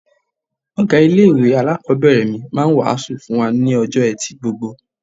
Ọ̀gá ilé-ìwé alákọ̀ọ́bẹ̀rẹ̀ mi máa ń wàásù fún wa ní ọjọ́ Ẹtì gbogbo.